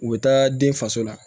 U bɛ taa den faso la